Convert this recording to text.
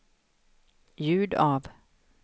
ljud av